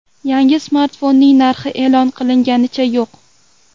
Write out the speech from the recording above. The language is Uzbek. Yangi smartfonning narxi e’lon qilinganicha yo‘q.